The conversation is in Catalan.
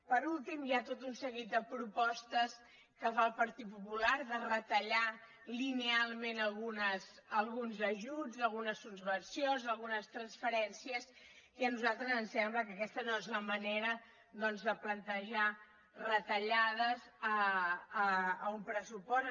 per últim hi ha tot un seguit de propostes que fa el partit popular de retallar linealment alguns ajuts algunes subvencions algunes transferències i a nosaltres ens sembla que aquesta no és la manera doncs de plantejar retallades a un pressupost